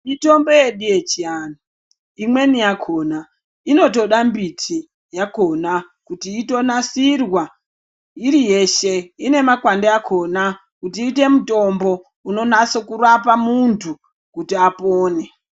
Mitombo yedu yechiantu imweni yakona inotoda mbiti yakona kuti inonasirwa iri yeshe ine makwande akona kuti iite mutombo unonatsorapa muntu kuti apone .